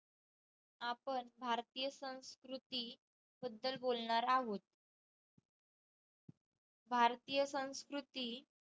आपण भारतीय संस्कृती बदल बोलणार आहोत भारतीय संस्कृती